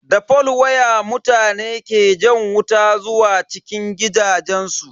Da fol waya mutane ke jan wuta zuwa cikin gidajensu.